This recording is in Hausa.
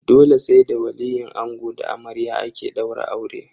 Dole sai da waliyin ango da na amarya ake daura aure.